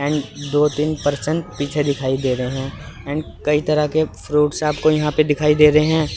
And दो तीन percent पीछे दिखाई दे रहे हैं एंड कई तरह के फ्रूट्स आपके यहां पे दिखाई दे रहे हैं।